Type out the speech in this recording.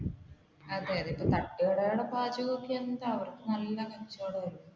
അതെ അതെ തട്ടുകടയിലൊക്കെ എന്താ അവർക്ക് നല്ല കച്ചവടം അല്ല?